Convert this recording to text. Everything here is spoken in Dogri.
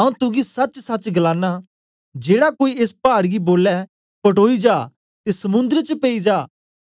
आऊँ तुगी सचसच गलाना जेड़ा कोई एस पाड गी बोले पटोई जा ते समुद्र च पेई जा